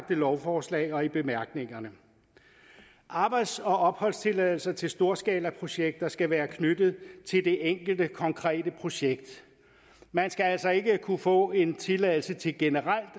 lovforslag og i bemærkningerne arbejds og opholdstilladelser til storskalaprojekter skal være knyttet til det enkelte konkrete projekt man skal altså ikke kunne få en tilladelse til generelt